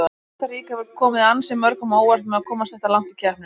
Kosta Ríka hefur komið ansi mörgum á óvart með að komast þetta langt í keppninni.